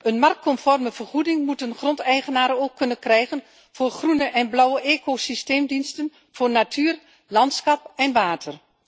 Een marktconforme vergoeding moeten grondeigenaars ook kunnen krijgen voor groene en blauwe ecosysteemdiensten voor natuur, landschap en water.